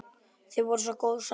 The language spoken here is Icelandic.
Þið voruð svo góð saman.